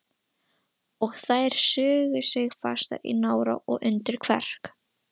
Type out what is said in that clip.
Og þær sugu sig fastar í nára og undir kverk.